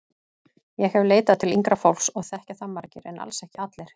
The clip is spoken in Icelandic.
Ég hef leitað til yngra fólks og þekkja það margir en alls ekki allir.